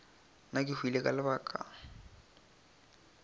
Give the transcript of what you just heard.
nna ke hwile ka lebaka